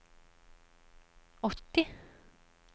åtti